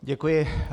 Děkuji.